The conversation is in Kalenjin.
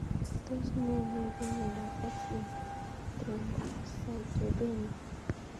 Tos ne neipu miondop X linked thrombocytopenia